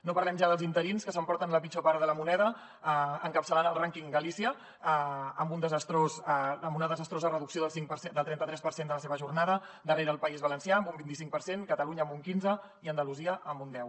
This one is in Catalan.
no parlem ja dels interins que s’emporten la pitjor part de la moneda encapçalant el rànquing galícia amb una desastrosa reducció del trentatres per cent de la seva jornada darrere el país valencià amb un vinticinc per cent catalunya amb un quinze i andalusia amb un deu